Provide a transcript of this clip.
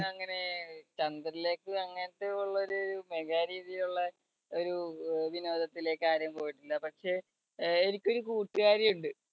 അങ്ങനെ ചന്ദ്രനിലേക്ക് അങ്ങനത്തെ ഉള്ള ഒരു mega രീതിയിലുള്ള ഒരു അഹ് വിനോദത്തിലേക്ക് ആരും പോയിട്ടില്ല പക്ഷേ ആഹ് എനിക്കൊരു കൂട്ടുകാരിയുണ്ട്